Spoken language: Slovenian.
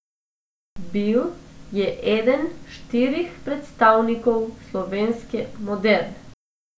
Bil je eden štirih predstavnikov slovenske moderne.